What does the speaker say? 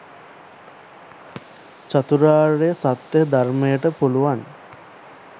චතුරාර්ය සත්‍යය ධර්මයට පුළුවන්